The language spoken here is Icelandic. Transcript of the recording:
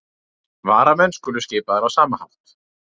Varamenn skulu skipaðir á sama hátt